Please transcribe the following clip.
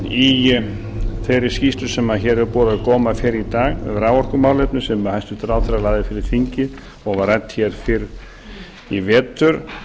í þeirri skýrslu sem hér hefur borið á góma fyrr í dag um raforkumálefni sem hæstvirtur ráðherra lagði fyrir þingið og var rædd hér fyrr í vetur